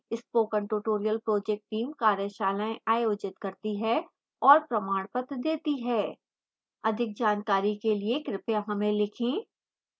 spoken tutorial project team कार्यशालाएँ आयोजित करती है और प्रमाणपत्र देती है अधिक जानकारी के लिए कृपया हमें लिखें